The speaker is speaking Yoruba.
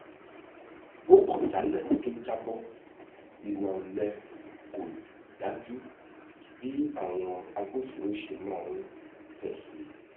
ó kọ jálẹ kó tó jábọ ìwà olè kò dájú bí àwọn agbófinró ṣe maá fèsì